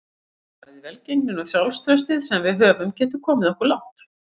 Hugarfarið, velgengnin og sjálfstraustið sem við höfum getur komið okkur langt.